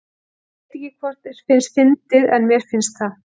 Ég veit ekki hvort þér finnst þetta fyndið en mér finnst það.